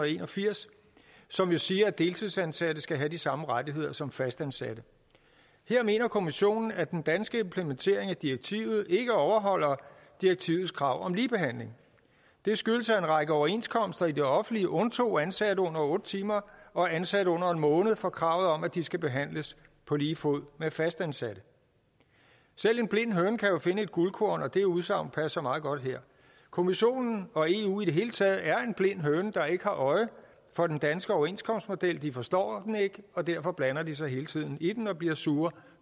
en og firs som jo siger at deltidsansatte skal have de samme rettigheder som fastansatte her mener kommissionen at den danske implementering af direktivet ikke overholder direktivets krav om ligebehandling det skyldes at en række overenskomster i det offentlige undtog ansatte under otte timer og ansatte under en måned for kravet om at de skal behandles på lige fod med fastansatte selv en blind høne kan jo finde et guldkorn og det udsagn passer meget godt her kommissionen og eu i det hele taget er en blind høne der ikke har øje for den danske overenskomstmodel de forstår den ikke og derfor blander de sig hele tiden i den og bliver sure